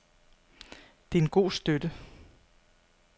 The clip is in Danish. Det er en god støtte.